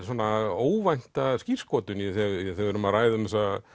óvænta skírskotun þegar við erum að ræða um